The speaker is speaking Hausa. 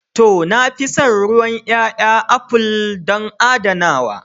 To, na fi son ruwan ƴaƴa aful don adanawa.